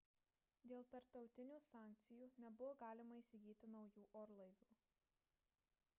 dėl tarptautinių sankcijų nebuvo galima įsigyti naujų orlaivių